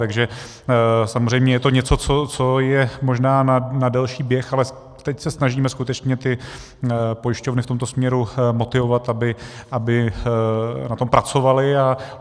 Takže samozřejmě je to něco, co je možná na delší běh, ale teď se snažíme skutečně ty pojišťovny v tomto směru motivovat, aby na tom pracovaly.